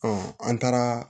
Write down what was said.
an taara